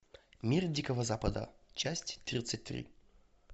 мир дикого запада часть тридцать три